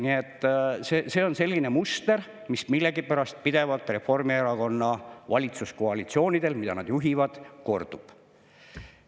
Nii et see on selline muster, mis millegipärast pidevalt Reformierakonna valitsuskoalitsioonidel, mida nad juhivad, kordub.